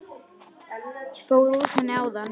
Ég fór úr henni áðan.